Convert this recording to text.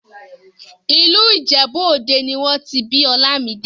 ìlú ìjẹ̀bú òde nì wọ́n ti bí Olamide